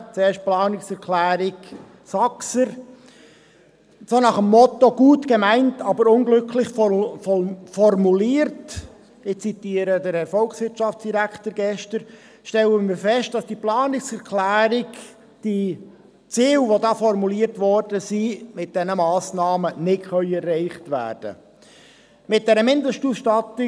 Zuerst zur Planungserklärung Saxer: Nach dem Motto «Gut gemeint, aber unglücklich formuliert» – ich zitiere die gestrige Aussage des Herrn Volkswirtschaftsdirektors – stellen wir fest, dass die mit der Planungserklärung formulierten Ziele mit diesen Massnahmen nicht erreicht werden können.